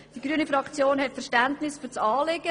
Die grüne Fraktion hat Verständnis für das Anliegen.